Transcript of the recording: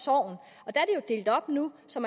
er delt op nu så